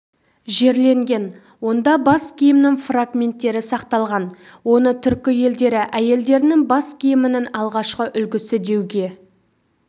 жерленген онда бас киімнің фрагменттері сақталған оны түркі елдері әйелдерінің бас киімінің алғашқы үлгісі деуге